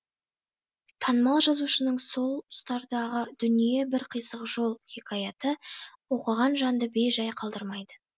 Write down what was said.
танымал жазушының сол тұстардағы дүние бір қисық жол хикаяты оқыған жанды бей жай қалдырмайды